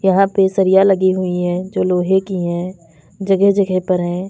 यहां पे सरिया लगी हुई है जो लोहे की है जगह जगह पर है।